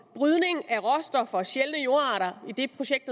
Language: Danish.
brydning af råstoffer og sjældne jordarter i det projekt